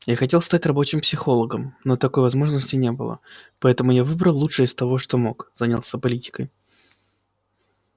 я хотел стать рабочим психологом но такой возможности не было поэтому я выбрал лучшее из того что мог занялся политикой